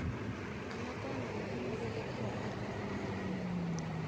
anga kona munhu wo velekiwa arini mali